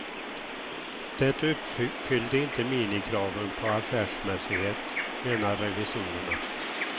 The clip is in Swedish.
Det uppfyllde inte minimikraven på affärsmässighet, menar revisorerna.